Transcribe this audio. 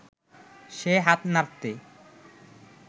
সে হাত নাড়তে